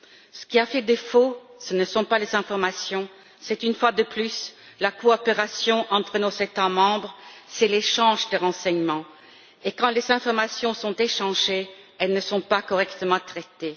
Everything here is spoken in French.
Ce qui a fait défaut, ce ne sont pas les informations, c'est une fois de plus la coopération entre nos États membres, c'est l'échange de renseignements, et quand les informations sont échangées, elles ne sont pas correctement traitées.